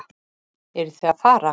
Eruð þið að fara?